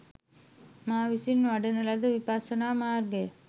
මා විසින් වඩන ලද විපස්සනා මාර්ගය